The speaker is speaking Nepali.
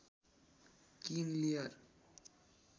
king layer